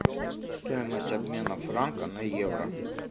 стоимость обмена франка на евро